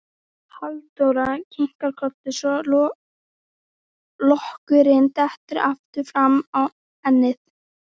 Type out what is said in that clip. Halldóra kinkar kolli svo lokkurinn dettur aftur fram á ennið.